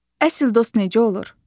Əsl dost necə olur?